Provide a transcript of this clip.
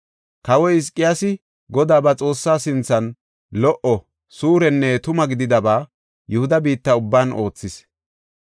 Kawoy Hizqiyaasi Godaa ba Xoossaa sinthan lo77o, suurenne tuma gididaba Yihuda biitta ubban oothis.